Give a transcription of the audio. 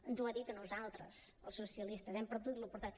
ens ho ha dit a nosaltres als socialistes hem perdut l’oportunitat